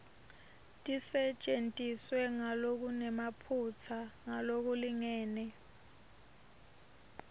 tisetjentiswe ngalokunemaphutsa ngalokulingene